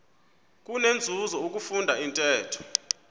kunenzuzo ukufunda intetho